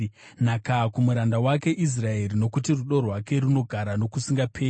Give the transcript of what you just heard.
nhaka kumuranda wake Israeri. Nokuti rudo rwake runogara nokusingaperi.